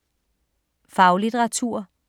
Faglitteratur